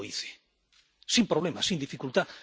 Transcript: Yo lo hice sin problemas, sin dificultad.